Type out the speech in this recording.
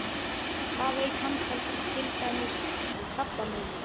Hvað veit hann til dæmis um krabbamein?